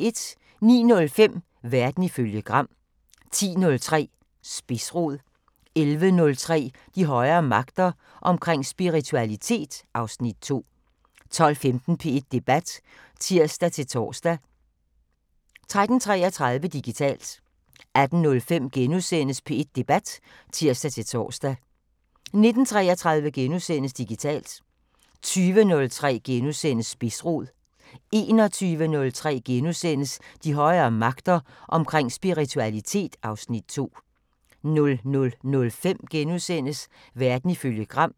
09:05: Verden ifølge Gram 10:03: Spidsrod 11:03: De højere magter: Omkring spiritualitet (Afs. 2) 12:15: P1 Debat (tir-tor) 13:33: Digitalt 18:05: P1 Debat *(tir-tor) 19:33: Digitalt * 20:03: Spidsrod * 21:03: De højere magter: Omkring spiritualitet (Afs. 2)* 00:05: Verden ifølge Gram *